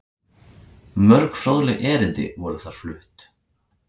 Mörg fróðleg erindi voru þar flutt.